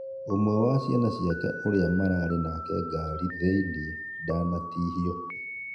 Ũmwe wa ciana cĩake ũria maraarĩ nake ngari thĩĩnĩ, ndanatĩhĩo